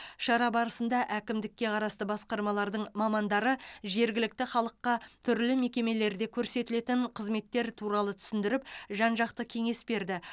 шара барысында әкімдікке қарасты басқармалардың мамандары жергілікті халыққа түрлі мекемелерде көрсетілетін қызметтер туралы түсіндіріп жан жақты кеңес берді